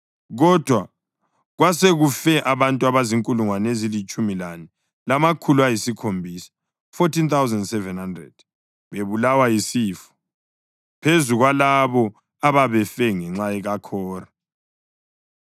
Kodwa kwasekufe abantu abazinkulungwane ezilitshumi lane lamakhulu ayisikhombisa (14,700) bebulawa yisifo, phezu kwalabo ababefe ngenxa kaKhora.